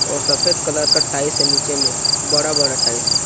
और सफेद कलर का टाइस है नीचे में और बड़ा -बड़ा टाइस हैं ।